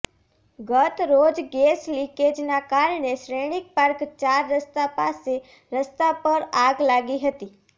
ગત રોજ ગેસ લીકેજના કારણે શ્રેણીક પાર્ક ચાર રસ્તા પાસે રસ્તા પર આગ લાગી હતી